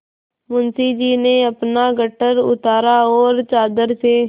मुंशी जी ने अपना गट्ठर उतारा और चादर से